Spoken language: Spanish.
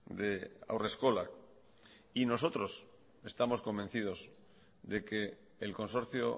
de haurreskolak y nosotros estamos convencidos de que el consorcio